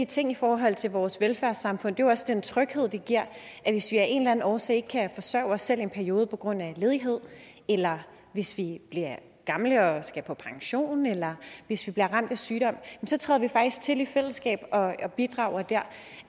tingene i forhold til vores velfærdssamfund er også den tryghed det giver at hvis vi af en eller anden årsag ikke kan forsørge os selv i en periode på grund af ledighed eller hvis vi bliver gamle og skal på pension eller hvis vi bliver ramt af sygdom så træder vi faktisk til i fællesskab og bidrager der